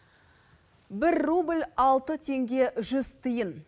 бір рубль алты теңге жүз тиын